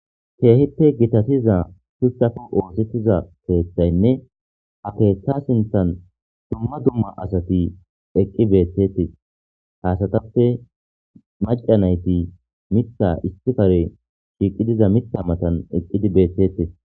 keehite gitasiza pustafu oosettiza keethaynne ha keeththa sinthan dumma dumma asati eqqi beetetis haasatappe macca nayti mita istifare shiiqi diza mitta matan eqqidi beethtetis